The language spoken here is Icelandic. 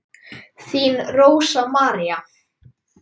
Þín Rósa María.